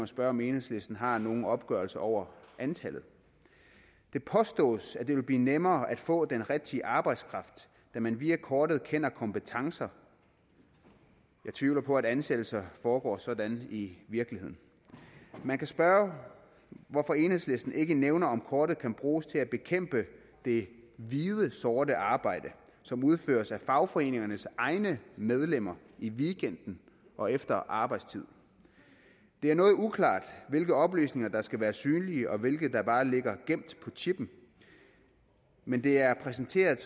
spørge om enhedslisten har nogen opgørelse over antallet det påstås at det vil blive nemmere at få den rigtige arbejdskraft da man via kortet kender kompetencer jeg tvivler på at ansættelser foregår sådan i virkeligheden man kan spørge hvorfor enhedslisten ikke nævner om kortet kan bruges til at bekæmpe det hvide sorte arbejde som udføres af fagforeningernes egne medlemmer i weekenden og efter arbejdstid det er noget uklart hvilke oplysninger der skal være synlige og hvilke der bare ligger gemt på chippen men det er præsenteret